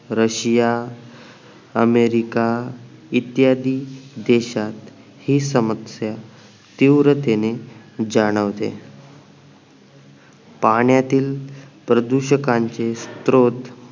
Russia America इत्यादी देशात हि समस्या तीव्रतेने जाणवते पाण्यातील प्रदूषकांचे स्रोत